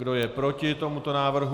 Kdo je proti tomuto návrhu?